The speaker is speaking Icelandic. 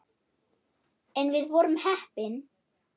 En við vorum heppin.